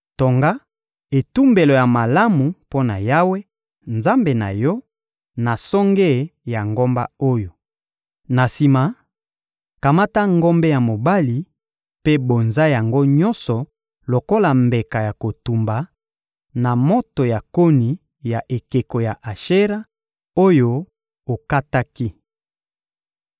Tonga etumbelo ya malamu mpo na Yawe, Nzambe na yo, na songe ya ngomba oyo. Na sima, kamata ngombe ya mobali mpe bonza yango nyonso lokola mbeka ya kotumba, na moto ya koni ya ekeko ya Ashera, oyo okataki.